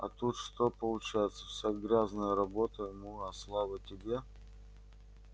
а тут что получается вся грязная работа ему а слава тебе